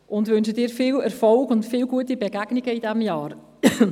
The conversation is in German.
Wir wünschen Ihnen viel Erfolg und viele gute Begegnungen während dieses Jahres.